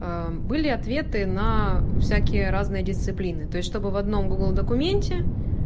были ответы на всякие разные дисциплины то есть чтобы в одном гугл документе